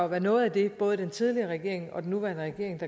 være noget af det både den tidligere regering og den nuværende regering